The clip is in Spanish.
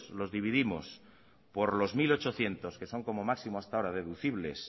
los dividimos por los mil ochocientos que son como máximo hasta ahora deducibles